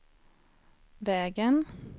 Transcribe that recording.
vägen